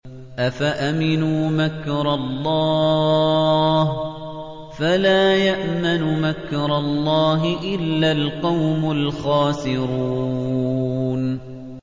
أَفَأَمِنُوا مَكْرَ اللَّهِ ۚ فَلَا يَأْمَنُ مَكْرَ اللَّهِ إِلَّا الْقَوْمُ الْخَاسِرُونَ